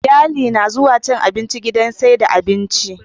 Iyali na zuwa cin abinci gidan saida abinci